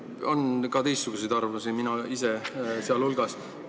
On ka teistsuguse arvamusega inimesi, mina ise sealhulgas.